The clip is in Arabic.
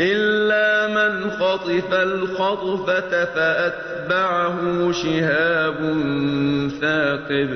إِلَّا مَنْ خَطِفَ الْخَطْفَةَ فَأَتْبَعَهُ شِهَابٌ ثَاقِبٌ